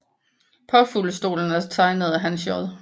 Påfuglestolen er tegnet af Hans J